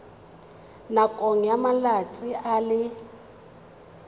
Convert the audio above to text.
nakong ya malatsi a le